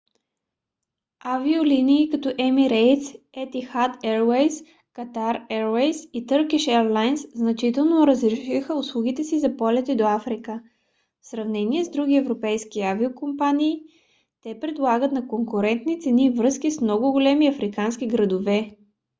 авиолинии като emirates etihad airways qatar airways и turkish airlines значително разшириха услугите си за полети до африка. в сравнение с други европейски авиокомпании те предлагат на конкурентни цени връзки с много големи африкански градове